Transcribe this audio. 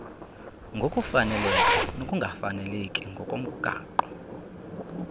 ngokufaneleka nokungafaneleki ngokomgaqo